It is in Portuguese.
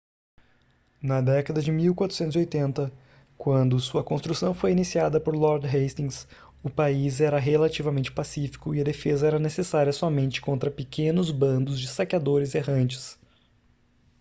na década de 1480 quando sua construção foi iniciada por lord hastings o país era relativamente pacífico e a defesa era necessária somente contra pequenos bandos de saqueadores errantes